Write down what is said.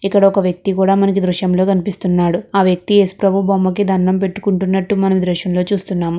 ఇక్కడ ఒక వ్యక్తి కూడా మనకు దృశ్యం లో కనిపిస్తున్నాడు. ఆ వ్యక్తి ఏసుప్రభు బొమ్మకి దండం పెట్టుకుంటున్నట్టు మనం ఈ దృశ్యంలో చూస్తున్నాము.